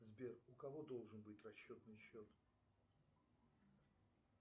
сбер у кого должен быть расчетный счет